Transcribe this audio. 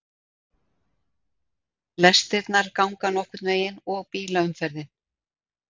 Lestirnar ganga nokkurn veginn og bílaumferðin